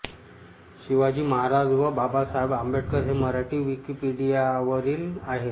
शिवाजी महाराज व बाबासाहेब आंबेडकर हे मराठी विकिपीडियावरील आहेत